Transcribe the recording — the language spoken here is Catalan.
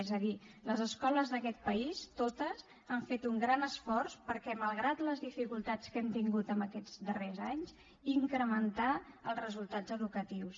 és a dir les escoles d’aquest país totes han fet un gran esforç per malgrat les dificultats que hem tingut en aquests darrers anys incrementar els resultats educatius